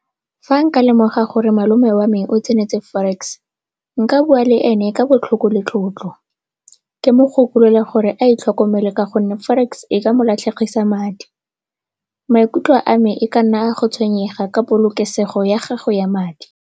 Fa nka lemoga gore malome wa me o tsenetse forex nka bua le ene ka botlhoko le tlotlo. Ke mo gakolole gore a itlhokomele ka gonne forex e ka mo latlhegedisa madi. Maikutlo a me e ka nna a go tshwenyega ka polokesego ya gagwe ya madi.